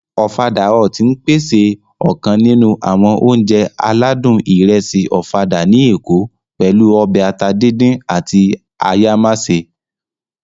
Ọ̀fadà Hut ń pèsè ọ̀kan nínú àwọn oúnjẹ aládùn ìrẹsì Ọ̀fadà ní èkó, pẹ̀lú ọbẹ̀ ata díndín àti ayámásè